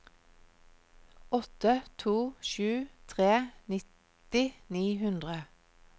åtte to sju tre nitti ni hundre